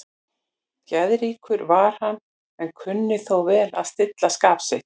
Geðríkur var hann, en kunni þó vel að stilla skap sitt.